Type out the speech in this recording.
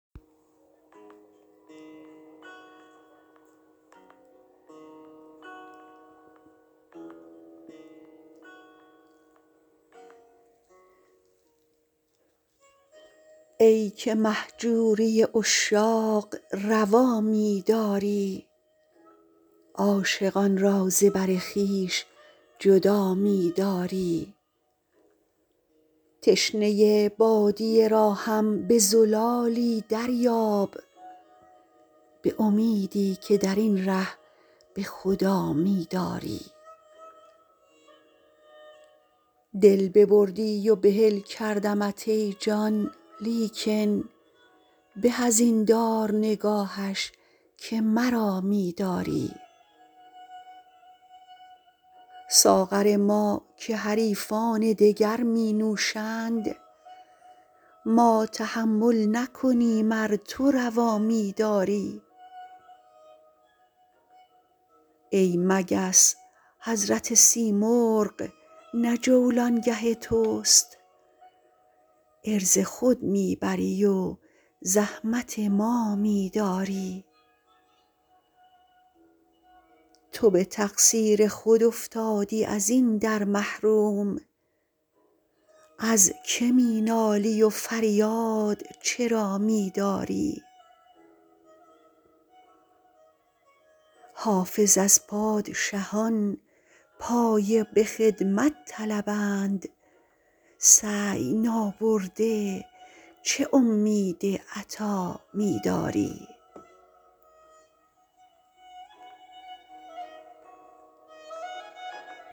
ای که مهجوری عشاق روا می داری عاشقان را ز بر خویش جدا می داری تشنه بادیه را هم به زلالی دریاب به امیدی که در این ره به خدا می داری دل ببردی و بحل کردمت ای جان لیکن به از این دار نگاهش که مرا می داری ساغر ما که حریفان دگر می نوشند ما تحمل نکنیم ار تو روا می داری ای مگس حضرت سیمرغ نه جولانگه توست عرض خود می بری و زحمت ما می داری تو به تقصیر خود افتادی از این در محروم از که می نالی و فریاد چرا می داری حافظ از پادشهان پایه به خدمت طلبند سعی نابرده چه امید عطا می داری